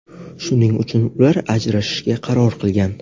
Shuning uchun ular ajrashishga qaror qilgan.